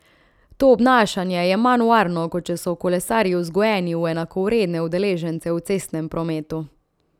To obnašanje je manj varno, kot če so kolesarji vzgojeni v enakovredne udeležence v cestnem prometu.